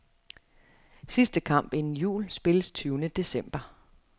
Sidste kamp inden jul spilles tyvende december.